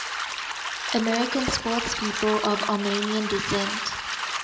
american sportspeople of armenian descent